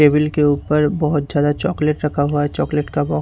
table के ऊपर बहोत ज्यादा चॉकलेट रखा हुआ है चॉकलेट का--